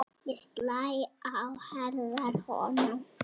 Slæ á herðar honum.